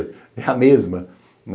É a mesma.